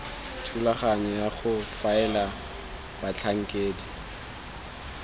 thulaganyo ya go faela batlhankedi